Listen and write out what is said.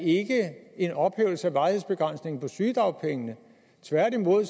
en ophævelse af varighedsbegrænsningen på sygedagpengene tværtimod